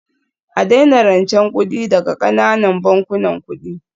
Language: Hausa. A daina rancen kuɗi daga ƙananan bankunan kuɗi